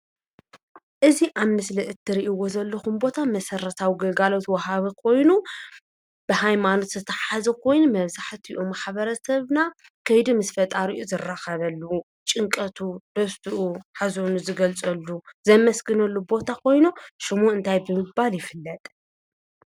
እዚ ኣብ ምስሊ እትሪእዎ ዘለኹም ቦታ መሰረታዊ ግልጋሎት ዋሃቢ ኮይኑ ብሃይማኖት ዝተታሓሓዘ ኾይኑ መብዛሕትኡ ማሕበረሰብና ከይዱ ምስ ፈጣሪኡ ዝራኸበሉ፣ ጭንቀቱ ፣ደስትኡ፣ ሓዘኑ ዝገልፀሉ ዘመስግነሉ ቦታ ኾይኑ ሽሙ እንታይ ብምባል ይፍለጥ?